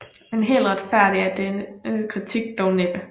Men helt retfærdig er denne kritik dog næppe